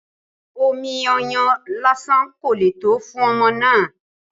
Omi ọyàn lásán kò le tó fún ọmọ náà